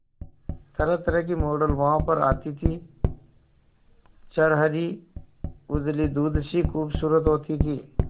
तरहतरह की मॉडल वहां पर आती थी छरहरी उजली दूध सी खूबसूरत होती थी